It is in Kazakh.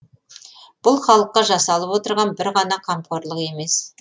бұл халыққа жасалып отырған бір ғана қамқорлық емес